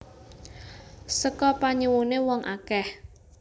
Seka panyuwuné wong akèh